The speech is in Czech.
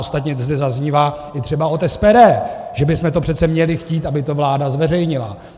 Ostatně zde zaznívá třeba i od SPD, že bychom to přece měli chtít, aby to vláda zveřejnila.